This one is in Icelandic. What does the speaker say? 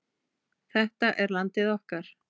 Þetta er landið okkar.